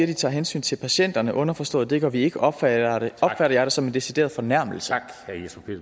de tager hensyn til patienterne underforstået at det gør vi ikke opfatter jeg det som en decideret fornærmelse